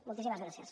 moltíssimes gràcies